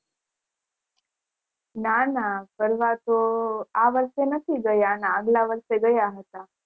ના ના ફરવા તો વર્ષે નથી ગયા અના અગલા વર્ષે ગયા હતા